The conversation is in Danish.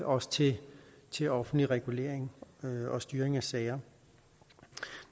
også til til offentlig regulering og styring af sager